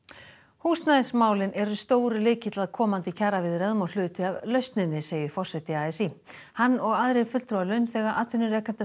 húsnæðismálin eru stór lykill að komandi kjaraviðræðum og hluti af lausninni segir forseti a s í hann og aðrir fulltrúar launþega atvinnurekenda